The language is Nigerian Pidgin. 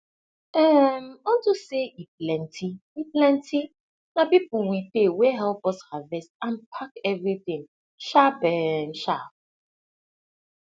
um unto say e plenty e plenty na people we pay wey help us harvest and pack everything sharp um sharp